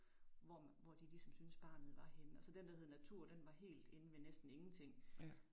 Hvor hvor de ligesom syntes barnet var henne og så den der hed natur den var helt inde ved næsten ingenting